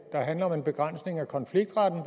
der handler om en begrænsning af konfliktretten